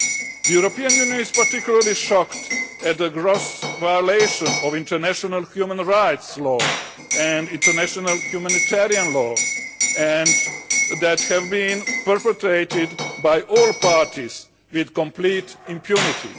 The European Union is particularly shocked at the gross violation of international human rights and international humanitarian law that have been perpetrated by all parties with complete impunity.